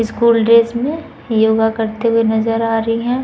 School dress में योगा करते हुए नज़र आ रही है।